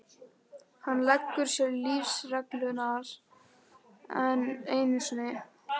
Hann leggur sér lífsreglurnar enn einu sinni.